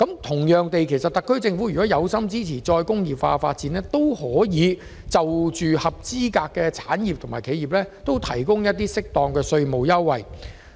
同樣地，特區政府若有心支持再工業化，也可向合資格產業和企業提供合適的稅務優惠。